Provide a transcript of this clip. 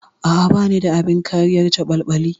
A'a, bani da abin kariyar caɓalɓali.